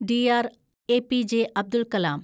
DR. APJ. Abdul Kalam